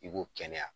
I ko kɛnɛya